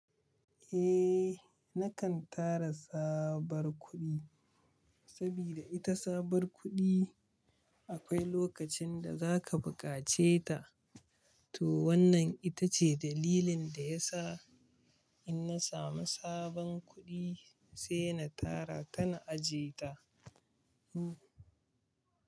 Eh, nakan tara tsabar kuɗi, saboda ita tsabar kuɗi akwai lokacin da za ka bukace ta. Toh, wannan ita ce dalilin da ya sa, inna samu sabon kuɗi sai na tara ta, na ajiye ta.